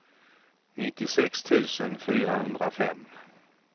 nittiosex tusen fyrahundrafem